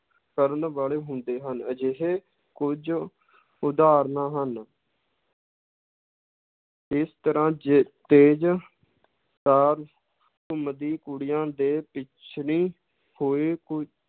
ਕਰਨ ਵਾਲੇ ਹੁੰਦੇ ਹਨ, ਅਜਿਹੇ ਕੁੱਝ ਉਦਾਹਰਨਾਂ ਹਨ ਇਸ ਤਰ੍ਹਾਂ ਜੇ ਤੇਜ਼ ਤਾਰ ਘੁੰਮਦੀ ਕੁੜੀਆਂ ਦੇ ਪਿੱਛਲੀ ਕੋਈ